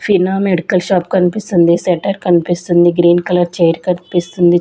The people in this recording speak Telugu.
ఫినా మెడికల్ షాప్ కన్పిస్తుంది స్వెట్టర్ కన్పిస్తుంది గ్రీన్ కలర్ చైర్ కన్పిస్తుంది.